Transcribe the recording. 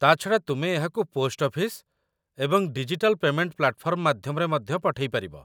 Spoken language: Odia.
ତା'ଛଡ଼ା ତୁମେ ଏହାକୁ ପୋଷ୍ଟ ଅଫିସ ଏବଂ ଡିଜିଟାଲ୍ ପେମେଣ୍ଟ ପ୍ଲାଟଫର୍ମ ମାଧ୍ୟମରେ ମଧ୍ୟ ପଠେଇ ପାରିବ।